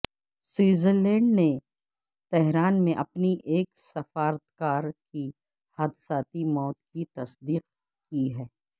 Switzerland نے Tehran میں اپنی ایک سفارتکار کی حادثاتی موت کی تصدیق کی ہے